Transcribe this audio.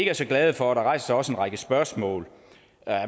er så glade for der rejser sig også en række spørgsmål